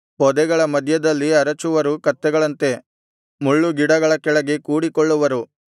ಪೊದೆಗಳ ಮಧ್ಯದಲ್ಲಿ ಅರಚುವರು ಕತ್ತೆಗಳಂತೆ ಮುಳ್ಳುಗಿಡಗಳ ಕೆಳಗೆ ಕೂಡಿಕೊಳ್ಳುವರು